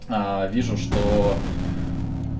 вижу что